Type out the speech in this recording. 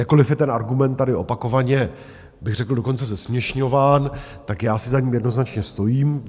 Jakkoliv je ten argument tady opakovaně bych řekl dokonce zesměšňován, tak já si za ním jednoznačně stojím.